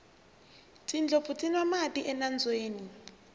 tindlopfu ti nwa mati enambyeni